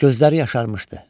Gözləri yaşarmışdı.